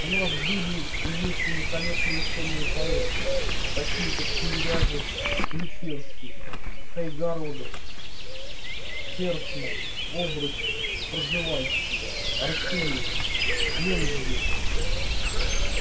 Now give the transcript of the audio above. у нас были и есть великолепные учёные-поэты такие как тимирязев ключевский кайгородов ферсман обручев пржевальский арсеньев мензбир